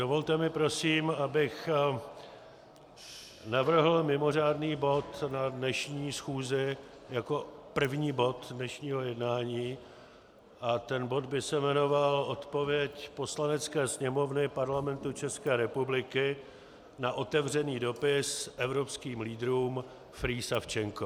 Dovolte mi prosím, abych navrhl mimořádný bod na dnešní schůzi jako první bod dnešního jednání a ten bod by se jmenoval Odpověď Poslanecké sněmovny Parlamentu České republiky na otevřený dopis evropským lídrům Free Savchenko.